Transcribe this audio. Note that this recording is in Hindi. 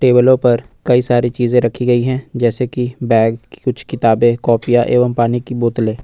टेबलों पर कई सारी चीज रखी गई है जैसे कि बैग कुछ किताबें कॉपीया एवं पानी की बोतले।